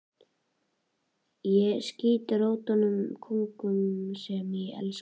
Ég skýt rótum í konunum sem ég elska.